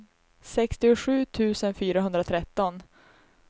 sextiosju tusen fyrahundratretton